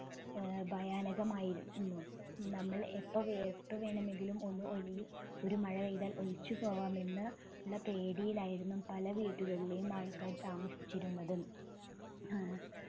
ഏർ ഭയാനകമായിരുന്നു നമ്മൾ എപ്പോ വേ എപ്പോ വേണമെങ്കിലും ഒന്ന് ഒലി ഒരു മഴപെയ്താൽ ഒലിച്ചുപോവാമെന്ന് ഉള്ള പേടിയിലായിരുന്നു പല വീടുകളിലെയും ആൾകാർ താമസിച്ചിരുന്നത് ഏർ